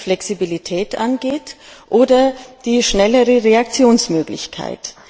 was die Flexibilität angeht oder die schnellere Reaktionsmöglichkeit.